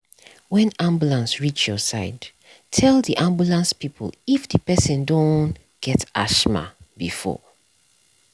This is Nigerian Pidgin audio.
when ambulance reach your side tell the ambulance people if the person don get asthma before